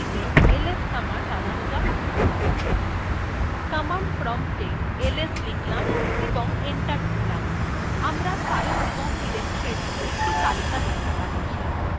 command prompta ls লিখলাম এবং enter টিপলাম আমরা files এবং ডিরেক্টরীর একটি তালিকা দেখতে পাচ্ছি